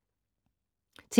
TV 2